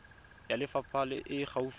ya lefapha e e gaufi